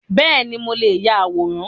Beeni, mo leè ya àwòrán